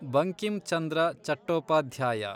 Bankim Chandra Chattopadhyay